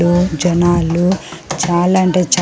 ఓ జనాలు చాలంటే చాహ్--